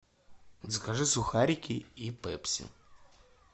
закажи сухарики и пепси